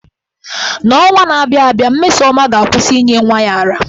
N’ọnwa na-abịa abịa, Mmesoma ga-akwụsị inye nwa ya ara.